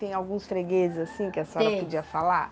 Tem alguns fregueses assim que a senhora podia falar? Tem.